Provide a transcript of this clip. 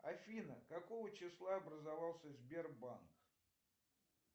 афина какого числа образовался сбербанк